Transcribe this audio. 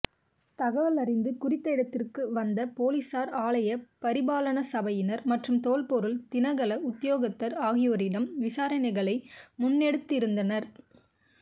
தகவல் அறிந்து குறித்த இடத்திற்கு வந்த பொலிஸார் ஆலய பரிபாலனசபையினர் மற்றும் தொல்பொருள் திணைக்கள உத்தியோகத்தர் ஆகியோரிடம் விசாரணைகளை முன்னெடுத்திருந்தனர்